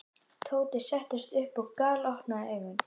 Tóti settist upp og galopnaði augun.